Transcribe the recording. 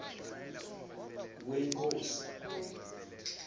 wenkosi